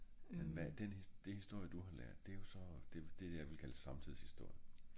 men hva den det historie du har lært det er så det det jeg ville kalde samtidshistorie